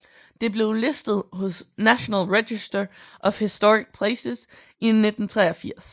Det blev listet hos National Register of Historic Places i 1983